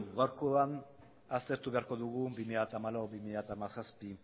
gaurkoan aztertu beharko dugu bi mila hamalau bi mila hamazazpi